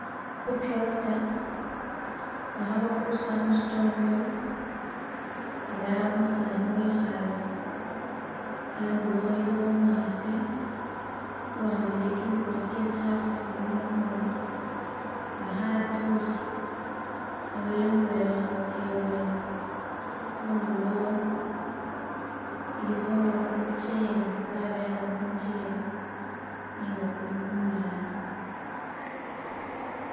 Ku tractor nga khabakurusa musitondoyi ela umusani wekhaalekho, andulo waliwo umukhaasi uwambile kimikosi kye tsikhaafu tsibili mukhono ali khatsiwusa khabeyongelayo khabatsa ibweni , khundulo ilikho kumucheli, babyalakho kumucheli nenga kuli kumwana.